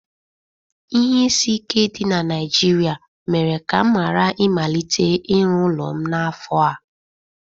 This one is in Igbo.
Ihe isi ike dị na Naịjirịa mere ka m ghara ịmalite ịrụ ụlọ m n'afọ a